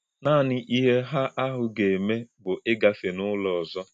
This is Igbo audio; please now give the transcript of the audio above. Nánì̄ íhè̄ hà àhụ̄ gà - èmè̄ bụ́ ịgàfè̄ n’ùlò̄ ọ̀zọ̄.